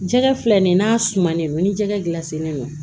Jɛgɛ filɛ nin ye n'a sumanen don ni jɛgɛ dilan sennen don